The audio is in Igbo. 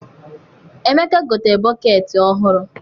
Emeka gotere bọkeeti ọhụrụ.